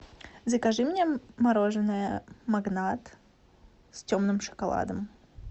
закажи мне мороженое магнат с темным шоколадом